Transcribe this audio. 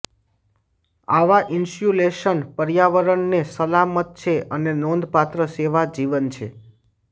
આવા ઇન્સ્યુલેશન પર્યાવરણને સલામત છે અને નોંધપાત્ર સેવા જીવન છે